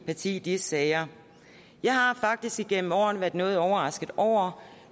parti i disse sager jeg har faktisk igennem årene været noget overrasket over